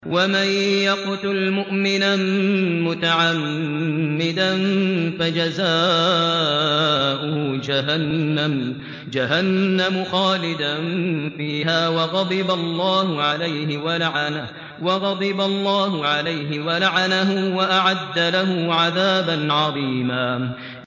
وَمَن يَقْتُلْ مُؤْمِنًا مُّتَعَمِّدًا فَجَزَاؤُهُ جَهَنَّمُ خَالِدًا فِيهَا وَغَضِبَ اللَّهُ عَلَيْهِ وَلَعَنَهُ وَأَعَدَّ لَهُ عَذَابًا عَظِيمًا